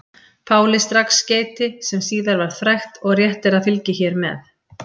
Páli strax skeyti sem síðar varð frægt og rétt er að fylgi hér með.